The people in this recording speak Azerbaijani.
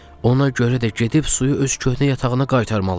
Ona görə də gedib suyu öz köhnə yatağına qaytarmalıyıq.